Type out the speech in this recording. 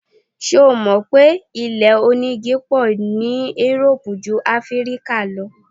Ṣé o mò pé ilé onígi pọ̀ ní Europe jú Áfíríkà lọ?